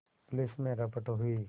police में रपट हुई